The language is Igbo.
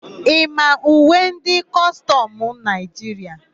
Ị ma uwe ndị kọstọmụ Naịjiria?